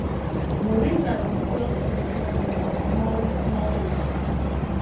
moringa dey cure small small wound small small wound